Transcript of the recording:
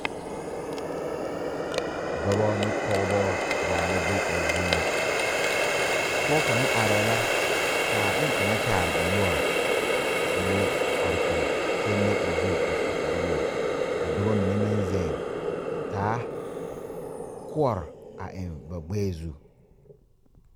Dɔba ne pɔgeba zaa la be a zie ŋa pɔge kaŋa arɛɛ la ka bonkaŋ kyaare o noɔre k.o are kɔge kyɛ le o zu a su kparewogi ka dɔba mine meŋ zeŋ a taa koɔre a eŋ ba gbɛɛ zu.